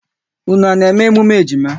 Unu à na-eme emume ejima?